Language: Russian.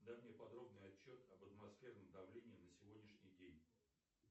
дай мне подробный отчет об атмосферном давлении на сегодняшний день